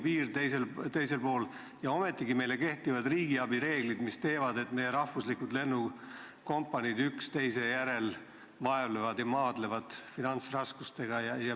Meist teisel pool on Euroopa Liidu piir ja ometigi meile kehtivad riigiabireeglid, mille tõttu meie lennukompaniid üksteise järel maadlevad finantsraskustega.